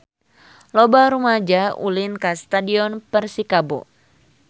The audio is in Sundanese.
Loba rumaja ulin ka Stadion Persikabo